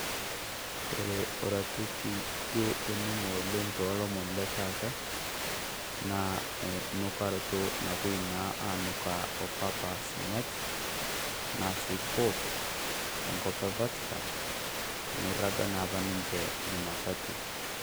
Kore oratioti duo oning'o oleng' tolomoni le taata, naa onukarato napoi naa anukaa opapa sinyati enaa sii Pop, tengop eFatikan amu eirraga naa apa niche Jumatatu.